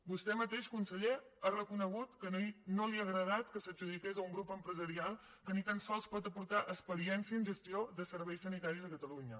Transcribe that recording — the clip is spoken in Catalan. vostè mateix conseller ha reconegut que no li ha agradat que s’adjudiqués a un grup empresarial que ni tan sols pot aportar experiència en gestió de serveis sanitaris a catalunya